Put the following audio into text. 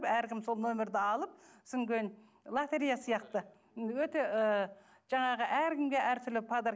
әркім сол номерді алып содан кейін лотерея сияқты өте ыыы жаңағы әркімге әртүрлі подарок